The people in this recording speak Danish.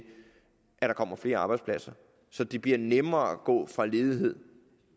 at der kommer flere arbejdspladser så det bliver nemmere at gå fra ledighed